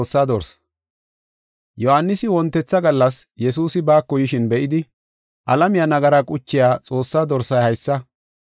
Yohaanisi wontetha gallas Yesuusi baako yishin be7idi, “Alamiya nagaraa quchiya Xoossaa Dorsay haysa!